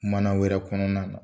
Mana wɛrɛ kɔnɔna na.